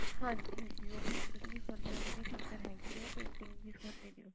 ਹਾਂਜੀ ਹਾਂਜੀ ਉਹ painting ਵੀ ਸਿਖਾਦੇ ਹਾਂ ਨਾ ਉਹਦੀ ਵੀ teacher ਹੈਗੀ ਹੈ painting ਵੀ ਸਿਖਾਉਂਦੇ ਨੇ ਨਾ